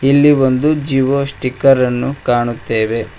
ಇಲ್ಲಿ ಒಂದು ಜಿಓ ಸ್ಟಿಕರ್ ಅನ್ನು ಕಾಣುತ್ತೆವೆ.